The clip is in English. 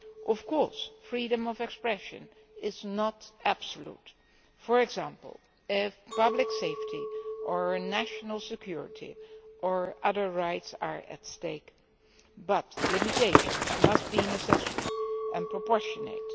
Of course, freedom of expression is not absolute for example, if public safety or national security or other rights are at stake but limitations must be necessary and proportionate.